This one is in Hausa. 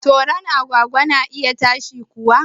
Toron agwagwa na iya ta shi kuwa